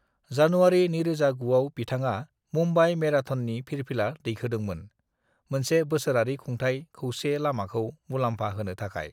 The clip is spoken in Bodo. "जानुवारि 2009 आव बिथाङा मुंबाइ मेराथननि फिरफिला दैखोदोंमोन, मोनसे बोसोरारि खुंथाय खौसे लामाखौ मुलामफा होनो थाखाय।"